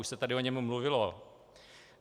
Už se tady o něm mluvilo.